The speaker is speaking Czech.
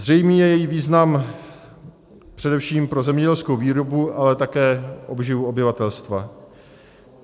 Zřejmý je její význam především pro zemědělskou výrobu, ale také obživu obyvatelstva.